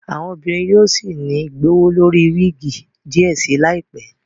Àwọn obìnrin yóò sí ní gbowólori wigi diẹ sí láìpé